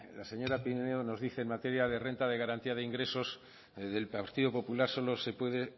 la señora pinedo nos dice que en materia de renta de garantía de ingresos del partido popular solo se puede